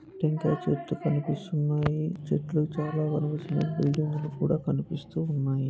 టెంకాయ చెట్లు కనిపిస్తున్నాయి చాల చెట్లు కనిపిస్తున్నాయి ఇంటి ముందు కూడా కనిపిస్తున్నాయి.